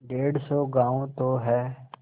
डेढ़ सौ गॉँव तो हैं